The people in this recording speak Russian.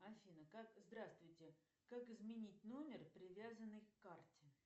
афина как здравствуйте как изменить номер привязанный к карте